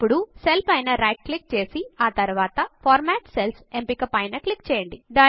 ఇప్పుడు సెల్ పైన right click చేసి ఆ తరువాత ఫార్మాట్ సెల్స్ ఎంపిక పైన క్లిక్ చేయండి